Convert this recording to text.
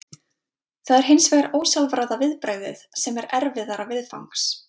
Það er hins vegar ósjálfráða viðbragðið sem er erfiðara viðfangs.